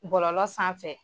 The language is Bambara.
Bɔlɔlɔ sanfɛ